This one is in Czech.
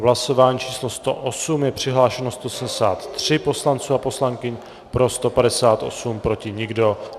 V hlasování číslo 108 je přihlášeno 173 poslanců a poslankyň, pro 158, proti nikdo.